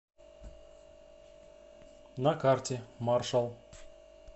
на карте маршал